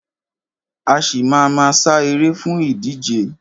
A ṣì má a ma sá eré fún ìdíje.